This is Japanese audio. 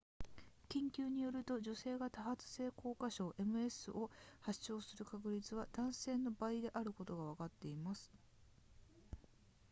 研究によると女性が多発性硬化症 ms を発症する確率は男性の倍であることがわかっています